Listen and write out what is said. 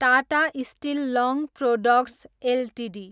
Tata steel long products Ltd